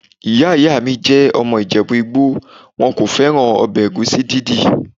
Ìyá àgbà mi jẹ́ ọmọ ìjẹ̀bú-igbo, wọn kò fẹ́ràn ọbẹ̀ ẹ̀gúsí dídì.